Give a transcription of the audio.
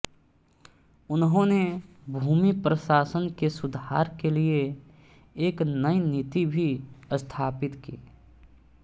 उन्होंने भूमि प्रशासन के सुधार के लिए एक नई नीति भी स्थापित की